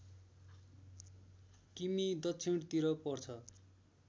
किमि दक्षिणतिर पर्छ